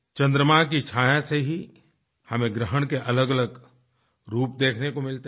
चंद्रमा की छाया से ही हमें ग्रहण के अलगअलग रूप देखने को मिलते हैं